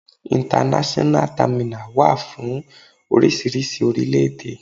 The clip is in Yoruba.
International terminal wà fún oríṣiríṣi orílẹ̀-èdè.